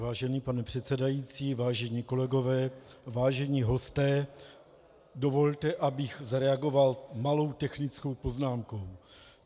Vážený pane předsedající, vážení kolegové, vážení hosté, dovolte, abych zareagoval malou technickou poznámkou.